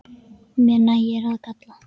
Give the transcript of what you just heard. Mér nægir að kalla.